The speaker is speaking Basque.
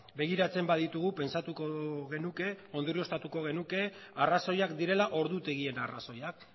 begiratzen baditugu pentsatuko genuke ondorioztatuko genuke arrazoiak direla ordutegien arrazoiak